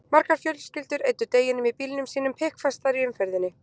Margar fjölskyldur eyddu deginum í bílum sínum, pikkfastar í umferðinni.